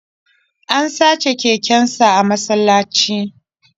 An sace kekensa a masallaci